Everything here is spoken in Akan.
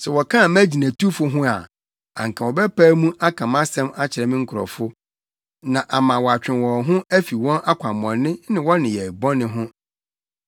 Sɛ wɔkaa mʼagyinatufo ho a, anka wɔbɛpae mu aka mʼasɛm akyerɛ me nkurɔfo na ama wɔatwe wɔn ho afi wɔn akwammɔne ne wɔn nneyɛe bɔne ho.